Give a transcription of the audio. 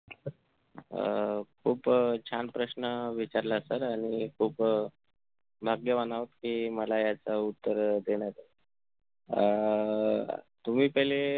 अह खूप अं छान प्रश्न विचारलाय Sir आणि खूप अह भाग्यवान आहोत कि मला याच उत्तर अह देण्यात ए अह तुम्ही पहिले